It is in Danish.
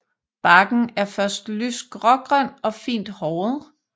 Barken er først lyst grågrøn og fint håret